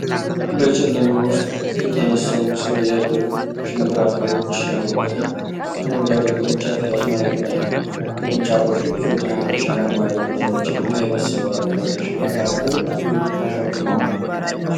በጨለማ ውስጥ የተነሳው ምስል የእርጥብ ሽንብራ ፍሬዎች ያሉበትን አረንጓዴ ቅርንጫፍ ያስመለክታል። ቅርንጫፎቹ ብዙ ትናንሽ አረንጓዴ ቅጠሎችና የበሰሉ አረንጓዴ ሽንብራ ፍሬዎች ተሸክመዋል።